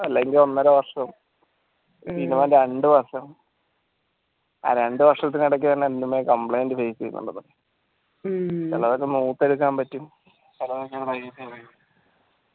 അല്ലെങ്കിൽ ഒന്നര വർഷം minimum രണ്ട വർഷം ആ രണ്ട വർഷത്തിനടക്ക് തന്നെ എന്തേലും complaint face യ്തു ചിലർത് പറ്റും